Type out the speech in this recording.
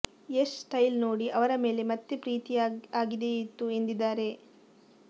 Yash style ನೋಡಿ ಅವರ ಮೇಲೆ ಮತ್ತೆ ಪ್ರೀತಿ ಆಗಿದೆಯ್ತು ಎಂದಿದ್ದಾರೆ